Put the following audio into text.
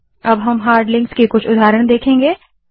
अब हम hard links के कुछ उदाहरण देखेंगे